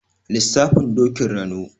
Lissafin Dokin Rano.